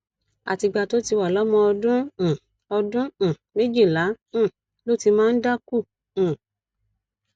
àtìgbà tó ti wà lọmọ ọdún um ọdún um méjìlá um ló ti máa ń dákú um